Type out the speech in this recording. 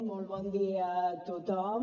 molt bon dia a tothom